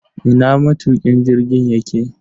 Ina matukin jirgin yake?